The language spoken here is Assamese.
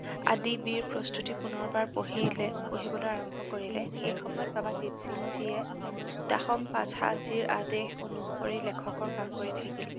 আদি বীৰ প্ৰস্তুতি পুনৰবাৰ পঢ়িলে, পঢ়িবলৈ আৰম্ভ কৰিলে, সেইসময়ত বাবা দিপসিংজীয়ে দাসম পাঠানজীৰ আদেশ অনুসৰি লেখকৰ কাম কৰি থাকিল।